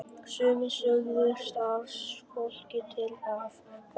Sumir sögðu starfsfólkið til að fá frí.